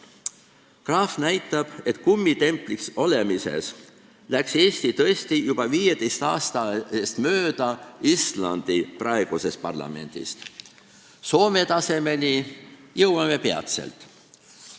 Graaf näitab, et kummitempliks olemises läks Eesti tõesti juba 15 aasta eest mööda Islandi praegusest parlamendist, Soome tasemele jõuame peatselt.